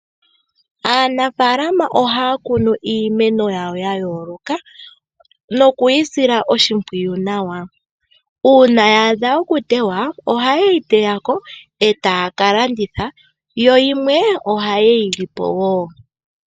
Aanafaalama ohaya kunu iimeno yawo ya yooloka nokuyi sila oshimpwiyu nawa. Uuna ya adha okuteywa ohaye yi teya ko e taya ka landitha yo yimwe ohaye yi li po.